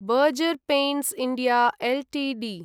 burger paints India Ltd